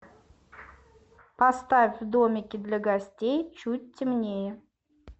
поставь в домике для гостей чуть темнее